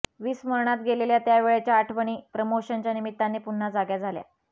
विस्मरणात गेलेल्या त्यावेळच्या आठवणी प्रमोशनच्या निमित्ताने पुन्हा जाग्या झाल्या